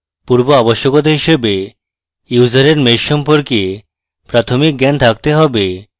পূর্বআবশ্যকতা হিসাবে ইউসারের mesh সম্পর্কে প্রাথমিক জ্ঞান থাকতে have